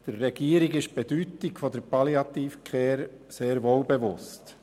Der Regierung ist die Bedeutung der Palliative Care sehr wohl bewusst.